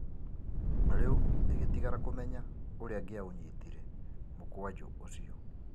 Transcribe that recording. Rĩũ ĩgĩtigara kũmenya ũrĩa angĩaũnyitire mũkwanjũ ũcio.